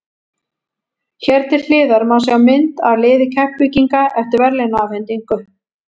Hér til hliðar má sjá mynd af liði Keflvíkinga eftir verðlaunaafhendingu.